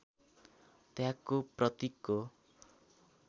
त्यागको प्रतिकको